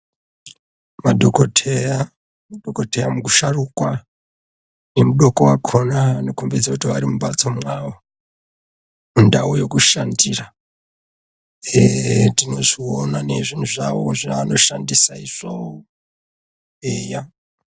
Madhokoteya, dhokoteya musharukwa nemudoko wakona anokombidza kuti varimumbatso mwavo, mundau yekushandira. Tinozviona nezvinhu zvavo zvaanoshandisa izvo. eya.